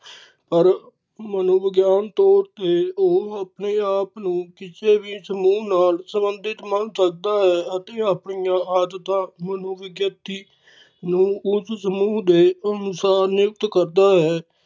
ਪਰ ਮਨੇਵਿਗਿਆਨ ਤੋਰ ਤੇ ਉਹ ਆਪਣੇ ਆਪ ਨੂੰ ਕਿਸੇ ਵੀ ਸਮੂਹ ਨਾਲ ਸੰਬੰਧਿਤ ਮੰਨ ਸਕਦਾ ਹੈ ਅਤੇ ਆਪਣੀਆਂ ਆਦਤਾਂ ਮਨੇਵਿਗਿਆਤੀ ਨੂੰ ਉਸ ਸਮੂਹ ਦੇ ਅਨੁਸਾਰ ਨਿਯੁੱਕਤ ਕਰਦਾ ਹੈ